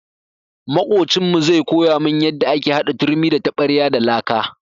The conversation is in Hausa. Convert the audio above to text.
Maƙocinmu zai koya mun yanda ake hada turmi da taɓarya da laka.